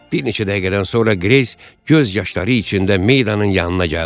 Bir neçə dəqiqədən sonra Greys göz yaşları içində Maydanın yanına gəldi.